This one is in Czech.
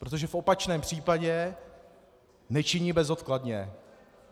Protože v opačném případě nečiní bezodkladně.